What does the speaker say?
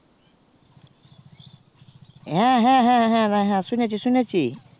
হ্যাঁ হ্যাঁ হ্যাঁ শুনেছি শুনেছি